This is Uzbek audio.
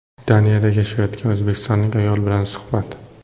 Daniyada yashayotgan o‘zbekistonlik ayol bilan suhbat.